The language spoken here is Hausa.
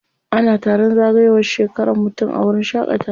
Ana taron zagayowar shekaran mutum a wuraren shaƙatawa.